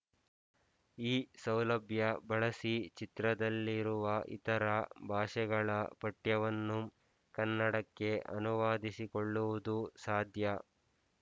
ಈ ಸೌಲಭ್ಯ ಬಳಸಿ ಚಿತ್ರದಲ್ಲಿರುವ ಇತರ ಭಾಷೆಗಳ ಪಠ್ಯವನ್ನು ಕನ್ನಡಕ್ಕೆ ಅನುವಾದಿಸಿಕೊಳ್ಳುವುದು ಸಾಧ್ಯ